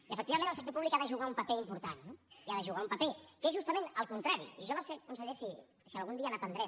i efectivament el sector públic hi ha de jugar un paper important eh i hi ha de jugar un paper que és justament el contrari i jo no sé conseller si algun dia n’aprendrem